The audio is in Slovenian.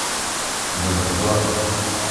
Vendar pozor!